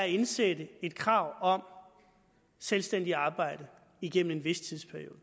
indsætte et krav om selvstændigt arbejde igennem en vis tidsperiode